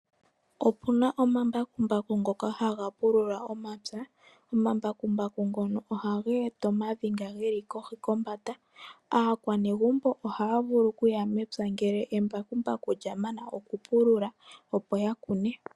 Opuna omambakumbaku ngono haga pulula ompya. Ohaga eta omavi ngono ge li kohi kombanda . Aakwanegumbo ohaa vulu okuya mepya ngele embakumbaku lya mana okupulula opo ya kune.